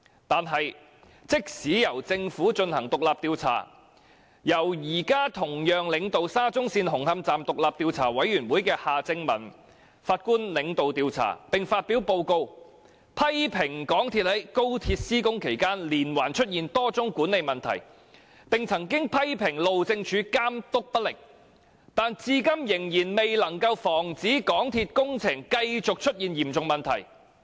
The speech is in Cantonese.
然而，即使由政府進行獨立調查，由現時同樣領導沙中線紅磡站獨立調查委員會的夏正民法官領導調查，並發表報告批評港鐵公司在高鐵施工期間連環出現多宗管理問題，以及批評路政署監督不力，但至今仍未能防止港鐵公司的工程出現嚴重問題。